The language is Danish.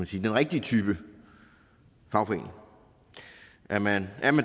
sige den rigtige type fagforening er man